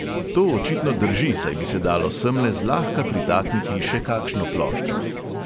To očitno drži, saj bi se dalo semle zlahka pritakniti še kakšno ploščo.